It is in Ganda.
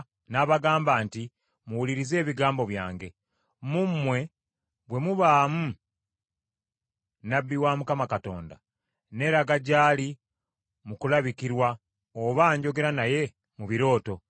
n’abagamba nti, “Muwulirize ebigambo byange: “Mu mmwe bwe mubaamu nnabbi wa Mukama Katonda, nneeraga gy’ali mu kulabikirwa, oba njogera naye mu birooto.